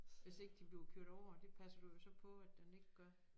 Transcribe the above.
Hvis ikke de bliver kørt over det passer du jo så på at den ikke gør